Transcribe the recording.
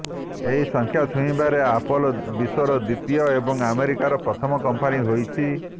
ଏହି ସଂଖ୍ୟା ଛୁଇଁବାରେ ଆପଲ ବିଶ୍ୱର ଦ୍ୱିତୀୟ ଏବଂ ଆମେରିକାର ପ୍ରଥମ କମ୍ପାନୀ ହୋଇଛି